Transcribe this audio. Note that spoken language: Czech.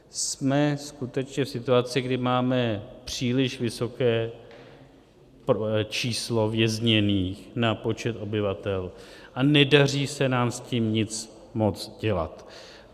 Jsme skutečně v situaci, kdy máme příliš vysoké číslo vězněných na počet obyvatel a nedaří se nám s tím nic moc dělat.